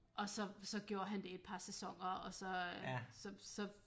Og så så gjorde han det et par sæsoner og så øh så så